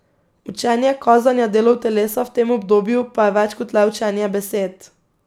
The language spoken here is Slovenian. Učenje kazanja delov telesa v tem obdobju pa je več kot le učenje besed.